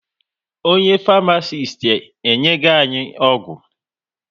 Onye Farmasiti enyego anyị ọgwụ